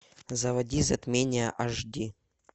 заводи затмение аш ди